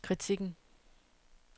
kritikken